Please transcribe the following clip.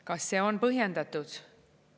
Kas see on põhjendatud?